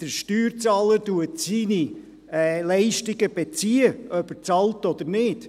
Der Steuerzahler bezieht seine Leistungen, ob er bezahlt oder nicht.